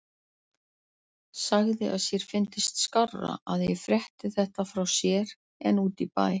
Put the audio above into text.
Sagði að sér fyndist skárra að ég frétti þetta frá sér en úti í bæ.